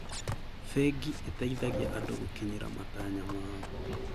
Bengi ĩteithagia andũ gũkinyĩra matanya mao.